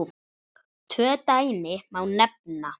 Tvö dæmi má nefna.